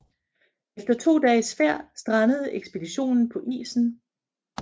Efter to dages færd strandede ekspeditionen på isen